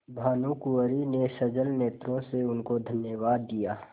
भानुकुँवरि ने सजल नेत्रों से उनको धन्यवाद दिया